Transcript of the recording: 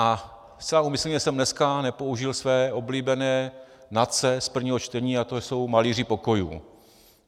A zcela úmyslně jsem dneska nepoužil své oblíbené NACE z prvního čtení a to jsou malíři pokojů.